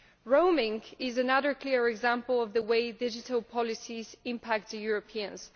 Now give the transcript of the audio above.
Roaming is another clear example of the way digital policies impact Europeans.